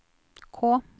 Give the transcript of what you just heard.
K